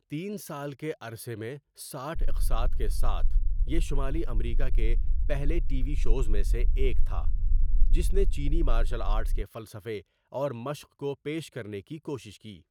تین سال کے عرصے میں ساٹھ اقساط کے ساتھ، یہ شمالی امریکہ کے پہلے ٹی وی شوز میں سے ایک تھا جس نے چینی مارشل آرٹس کے فلسفے اور مشق کو پیش کرنے کی کوشش کی.